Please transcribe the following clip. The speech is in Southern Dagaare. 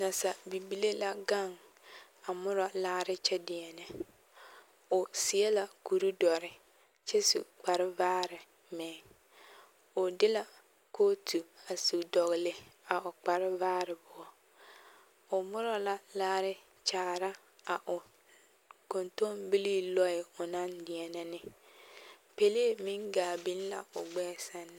Naasa bibilii la gaŋ a murɔ laare kyɛ deɛnɛ o seɛ la kure dɔre kyɛ su kpare vaare meŋ o de la kootu su dɔgle a l kpare vaare poɔ o murɔ la laare kyaara a o kontonbilii lɔɛ o naŋ deɛnɛ ne pɛlee meŋ gaa biŋ la o gbɛɛ sɛŋ na.